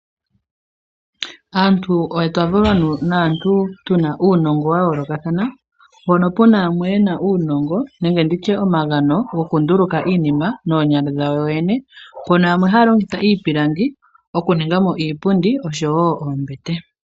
Aantu otwa valwa naantu tuna nuungo wayoolokathana mpono puna yamwe yena uunongo nenge nditye omagano gokunduluka iinima noonyala dhawo yene.